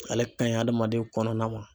Ale ka ɲi hadamaden kɔnɔna ma.